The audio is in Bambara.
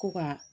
Ko ka